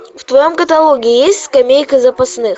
в твоем каталоге есть скамейка запасных